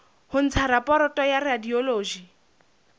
ho ntsha raporoto ya radiology